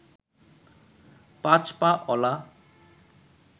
পাঁচ পা অলা